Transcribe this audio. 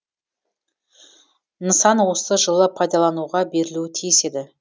нысан осы жылы пайдалануға берілуі тиіс еді